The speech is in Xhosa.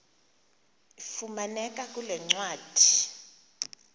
ifumaneka kule ncwadi